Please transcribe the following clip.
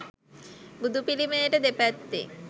බුදු පිළිමයට දෙපැත්තෙන්